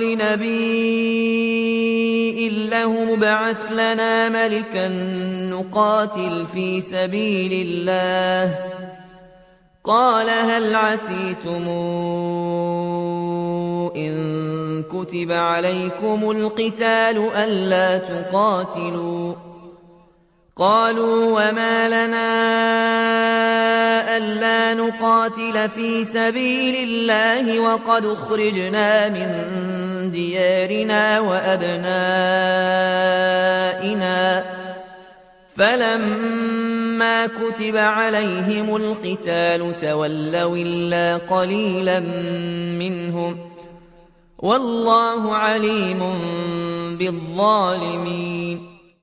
لِنَبِيٍّ لَّهُمُ ابْعَثْ لَنَا مَلِكًا نُّقَاتِلْ فِي سَبِيلِ اللَّهِ ۖ قَالَ هَلْ عَسَيْتُمْ إِن كُتِبَ عَلَيْكُمُ الْقِتَالُ أَلَّا تُقَاتِلُوا ۖ قَالُوا وَمَا لَنَا أَلَّا نُقَاتِلَ فِي سَبِيلِ اللَّهِ وَقَدْ أُخْرِجْنَا مِن دِيَارِنَا وَأَبْنَائِنَا ۖ فَلَمَّا كُتِبَ عَلَيْهِمُ الْقِتَالُ تَوَلَّوْا إِلَّا قَلِيلًا مِّنْهُمْ ۗ وَاللَّهُ عَلِيمٌ بِالظَّالِمِينَ